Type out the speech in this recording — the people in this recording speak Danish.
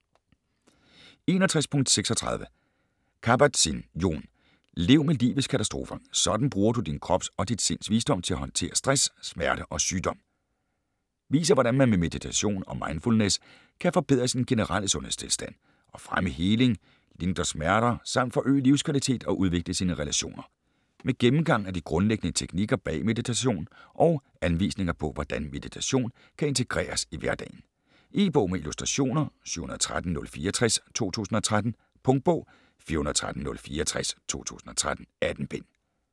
61.36 Kabat-Zinn, Jon: Lev med livets katastrofer: sådan bruger du din krops og dit sinds visdom til at håndtere stress, smerte og sygdom Viser hvordan man med meditation og mindfulness kan forbedre sin generelle sundhedstilstand, og fremme heling, lindre smerter samt forøge livskvalitet og udvikle sine relationer. Med gennemgang af de grundlæggende teknikker bag meditation og anvisninger på hvordan meditation kan integreres i hverdagen. E-bog med illustrationer 713064 2013. Punktbog 413064 2013. 18 bind.